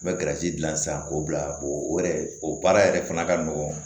N bɛ dilan sisan k'o bila o yɛrɛ o baara yɛrɛ fana ka nɔgɔn